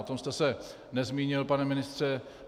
O tom jste se nezmínil, pane ministře.